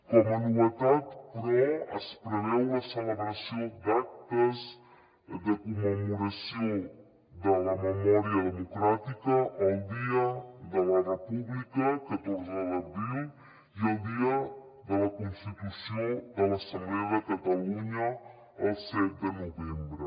com a novetat però es preveu la celebració d’actes de commemoració de la memòria democràtica el dia de la república catorze d’abril i el dia de la constitució de l’assemblea de catalunya el set de novembre